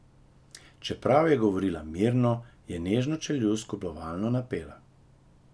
Čeprav je govorila mirno, je nežno čeljust kljubovalno napela.